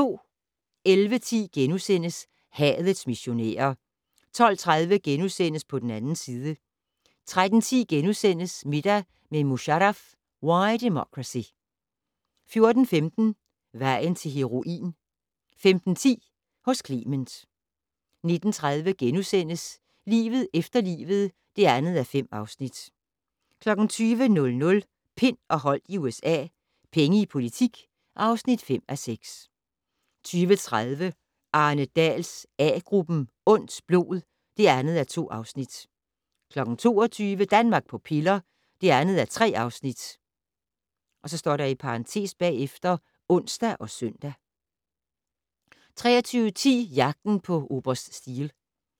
11:10: Hadets missionærer * 12:30: På den 2. side * 13:10: Middag med Musharraf - Why Democracy * 14:15: Vejen til heroin 15:10: Hos Clement 19:30: Livet efter livet (2:5)* 20:00: Pind og Holdt i USA - Penge i politik (5:6) 20:30: Arne Dahls A-gruppen: Ondt blod (2:2) 22:00: Danmark på piller (2:3)(ons og søn) 23:10: Jagten på oberst Steele